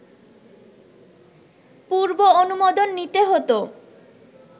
পূর্ব অনুমোদন নিতে হতো